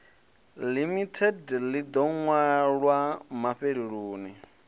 limited ḽi ḓo ṅwalwa mafheloni